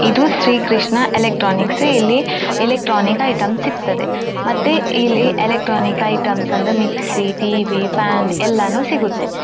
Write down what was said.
ಇದು ಶ್ರೀ ಕೃಷ್ಣ ಎಲೆಕ್ಟ್ರಾನಿಕ್ಸ್ ಇಲ್ಲಿ electronics items ಸಿಗತ್ತದ್ದೆ ಮತ್ತೆ ಇಲ್ಲಿ ಎಲೆಕ್ಟ್ರಾನಿಕ್ಸ್ ಐಟಮ್ಸ್ ಅಂದ್ರೆ ಮಿಕ್ಸಿ ಟಿ.ವಿ. ಫ್ಯಾನ್ ಎಲ್ಲಾನು ಸಿಗುತ್ತೆ.